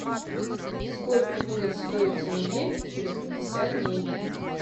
сколько будет стоить тенге через пятьдесят дней